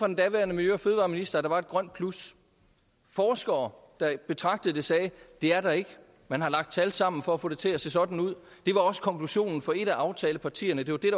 den daværende miljø og fødevareminister at der var et grønt plus forskere der betragtede det sagde det er der ikke man har lagt tal sammen for at få det til at se sådan ud det var også konklusionen for et af aftalepartierne det var det